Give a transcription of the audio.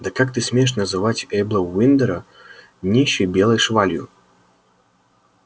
да как ты смеешь называть эйбла уиндера нищей белой швалью